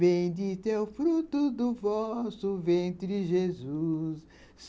Bendita é o fruto do vosso ventre, Jesus.